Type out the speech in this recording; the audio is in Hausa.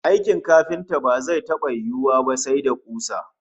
Aikin kafinta ba zai taba yiwuwa ba sai da kusa